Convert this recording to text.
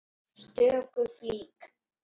stöku flík.